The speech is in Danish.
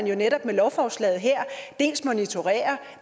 jo netop med lovforslaget her dels monitorerer